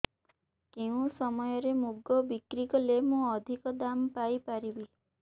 କେଉଁ ସମୟରେ ମୁଗ ବିକ୍ରି କଲେ ମୁଁ ଅଧିକ ଦାମ୍ ପାଇ ପାରିବି